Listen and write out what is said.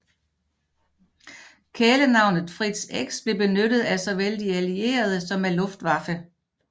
Kælenavnet Fritz X blev benyttet af såvel de allierede som af Luftwaffe